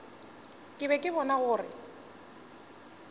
ke be ke bona gore